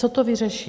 Co to vyřeší?